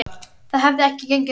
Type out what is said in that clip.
Það hefði ekki gengið upp.